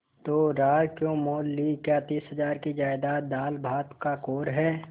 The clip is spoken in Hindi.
तो रार क्यों मोल ली क्या तीस हजार की जायदाद दालभात का कौर है